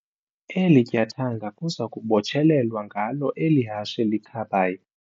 Eli tyathanga kuza kubotshelelwa ngalo eli hashe likhabayo.